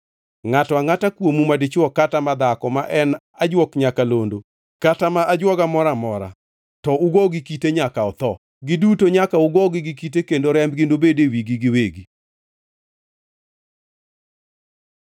Ngʼato angʼata kuomu madichwo kata madhako ma en ajuok nyakalondo kata ma ajwoga moro amora, to ugo gi kite nyaka otho. Giduto nyaka ugogi gi kite kendo rembgi nobedi e wigi giwegi.